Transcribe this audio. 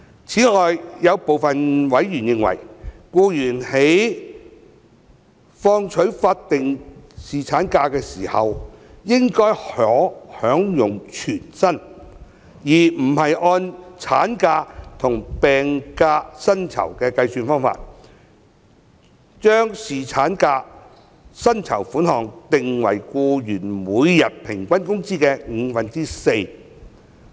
此外，有部分委員認為，僱員在放取法定侍產假時，應該可享有全薪，而不是按產假和病假薪酬的計算方法，將侍產假薪酬款額定為僱員每天平均工資的五分之四。